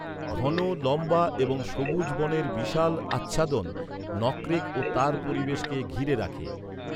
ঘন, লম্বা এবং সবুজ বনের বিশাল আচ্ছাদন নকরেক ও তার পরিবেশকে ঘিরে রাখে।